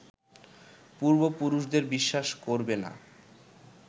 পূর্ব পুরুষদের বিশ্বাস করবে না